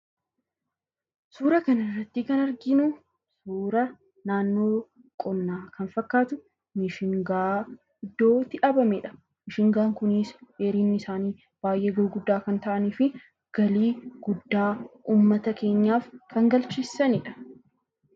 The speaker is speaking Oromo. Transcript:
Suuraa kanarratti kan arginu suuraa naannoo qonnaa kan fakkaatu Mishingaan iddootti dhaabamedha. Mishingaan kunis dheerinni isaanii baay'ee gurguddaa kan ta'anii fi galii guddaa uummata keenyaaf kan galchisiisanidha.